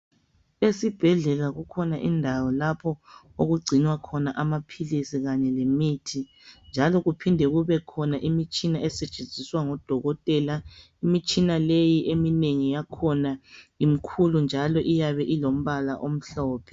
Esibhedlela kukhona indawo lapho okugcinwa khona amaphilisi kanye lemithi njalo kuphinde kubekhona imitshina esetshenziswa ngodokotela imitshina leyi eminengi yakhona imkhulu njalo iyabe ilombala omhlophe.